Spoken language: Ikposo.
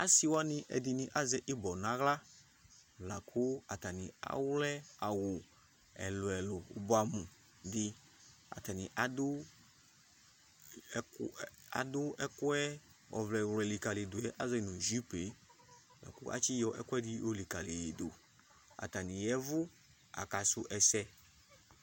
Asɩ wanɩ ɛdɩnɩ azɛ ɩbɔ naɣla, la kʋ atanɩ awlɛ awʋ ɛlʋɛlʋ bʋa atanɩ adʋ ɛkʋɛ ɔvlɛ wlʋɛ likǝlidʋ yɛ ka zɔ nʋ jupe ,kʋ atsɩ yɔ ɛkʋɛdɩ yɔ likǝliyɩdʋ; atanɩ yaɛvʋ aka sʋ ɛsɛ